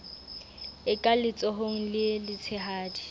e ka letsohong le letshehadi